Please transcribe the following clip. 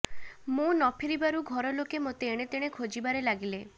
ମୁଁ ନଫେରିବାରୁ ଘର ଲୋକେ ମୋତେ ଏଣେତେଣେ ଖୋଜିବାରେ ଲାଗିଲେ